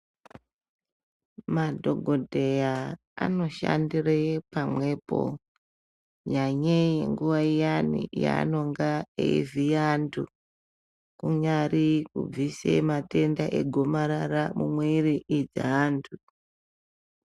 Madhokodheya anoshandire pamwepo nyanyei nguwa iyani yaanonga eivhiya antu. Kunyari kubvisa matenda egomarara mumwiri dzeantu.